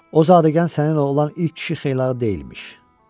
O zadəgan səninlə olan ilk kişi xeylağı deyilmiş.